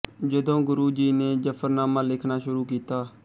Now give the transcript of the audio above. ਜਦੋਂ ਗੁਰੂ ਜੀ ਨੇ ਜਫ਼ਰਨਾਮਾ ਲਿਖਣਾ ਸ਼ੁਰੂ ਕੀਤਾ